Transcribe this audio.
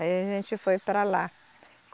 Aí a gente foi para lá.